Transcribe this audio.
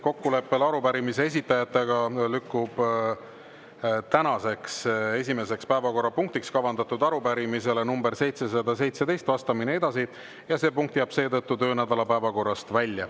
Kokkuleppel arupärimise esitajatega lükkub tänaseks esimeseks päevakorrapunktiks kavandatud arupärimisele nr 717 vastamine edasi ja see punkt jääb seetõttu töönädala päevakorrast välja.